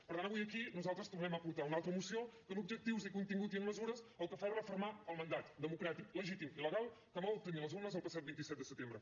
per tant avui aquí nosaltres tornem a portar una altra moció que en objectius i en contingut i en mesures el que fa és refermar el mandat democràtic legítim i legal que vam obtenir a les urnes el passat vint set de setembre